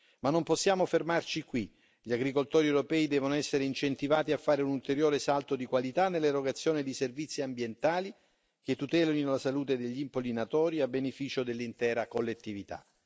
Ma non possiamo fermarci qui gli agricoltori europei devono essere incentivati a fare un ulteriore salto di qualità nell'erogazione di servizi ambientali che tutelino la salute degli impollinatori, a beneficio dell'intera collettività.